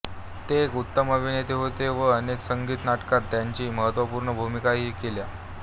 ते एक उत्तम अभिनेते होते व अनेक संगीत नाटकांत त्यांनी महत्त्वपूर्ण भूमिकाही केल्या